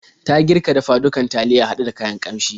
Ta girka dafa-dukan taliya haɗe da kayan ƙanshi.